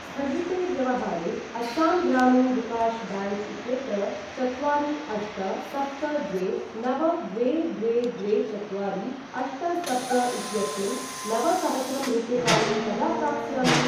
स्थगिते व्यवहारे अस्सां ग्रामीण विकाश् ब्याङ्क् इत्यत्र चत्वारि अष्ट सप्त द्वे नव द्वे द्वे द्वे चत्वारि अष्ट सप्त इत्यस्मिन् नवसहस्रं रूप्यकाणि कदा प्राप्स्यामि?